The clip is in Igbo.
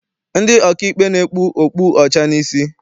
Ndị ọkaikpe na-ekpu okpu ọcha n'isi.